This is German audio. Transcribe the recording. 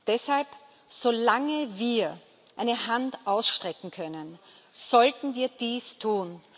Deshalb Solange wir eine Hand ausstrecken können, sollten wir dies tun.